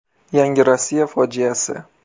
Yangi Rossiya fojiasi.